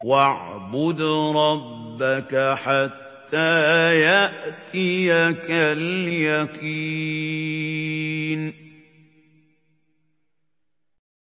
وَاعْبُدْ رَبَّكَ حَتَّىٰ يَأْتِيَكَ الْيَقِينُ